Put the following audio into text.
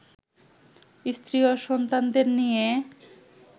স্ত্রী ও সন্তানদের নিয়ে